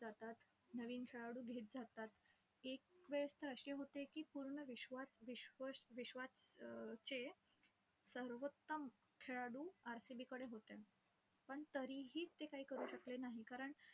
जातात. नवीन खेळाडू घेत जातात. एक वेळस तर अशी होते की, पूर्ण विश्वात विश्व विश्वात अं चे सर्वोत्तम खेळाडू RCB कडे होते. पण तरीही ते काही करू शकले नाही. कारण,